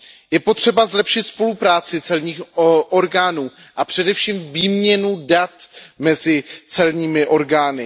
Je potřeba zlepšit spolupráci celních orgánů a především výměnu dat mezi celními orgány.